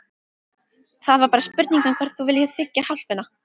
Það er bara spurning um hvort þú viljir þiggja hjálpina.